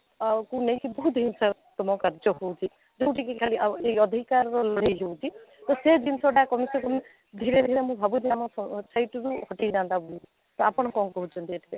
ଆଃ କୁ ନେଇକି ବହୁତ ହିଂସାତ୍ମକ କାର୍ଯ୍ୟ ହଉଛି ଯେଉଁଠି କି ଖାଲି ଆଉ ଏ ଅଧିକାରର ଲଢେଇ ଯଉଠି ତ ସେ ଜିନିଷଟା କମସେ କମ ଧୀରେ ଧୀରେ ମୁଁ ଭାବୁଛି ଆମ society ରୁ ହଟେଇ ଯାଆନ୍ତା ତ ଆପଣ କ'ଣ କହୁଛନ୍ତି ଏଥିରେ